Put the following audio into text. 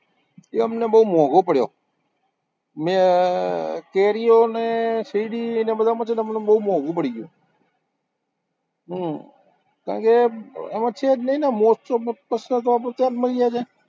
તે અમને બોવ મોંઘો પડ્યો, મેં કેરીઓને શેરડીને બધામાં છે ને અમને બોવ મોંઘુ પડી ગયું, હમ કારણ કે એમાં છે જ નઈ ને મોજ-શોખનો પ્રશ્ન તો આપણો